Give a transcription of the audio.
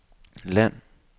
land